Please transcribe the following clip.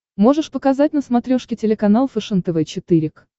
можешь показать на смотрешке телеканал фэшен тв четыре к